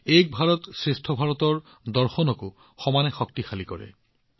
তেওঁলোকে এক ভাৰতশ্ৰেষ্ঠ ভাৰতৰ মনোভাৱক সমানে শক্তিশালী কৰে